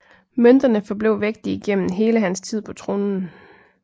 Mønterne forblev vægtige gennem hele hans tid på tronen